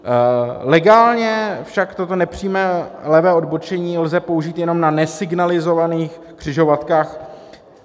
Legálně však toto nepřímé levé odbočení lze použít jenom na nesignalizovaných křižovatkách.